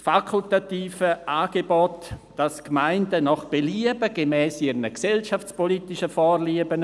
Das fakultative Angebot, demgemäss die Gemeinden nach Belieben gemäss ihren gesellschaftspolitischen Vorlieben